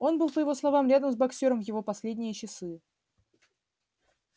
он был по его словам рядом с боксёром в его последние часы